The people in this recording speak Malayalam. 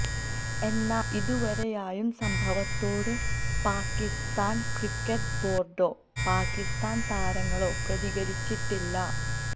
എന്നാല് ഇതുവരെയായും സംഭവത്തോട് പാകിസ്താന് ക്രിക്കറ്റ് ബോര്ഡോ പാകിസ്താന് താരങ്ങളോ പ്രതികരിച്ചിട്ടില്ല